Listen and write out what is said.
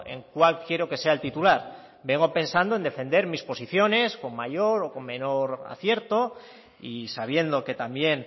en cuál quiero que sea el titular vengo pensando en defender mis posiciones con mayor o con menor acierto y sabiendo que también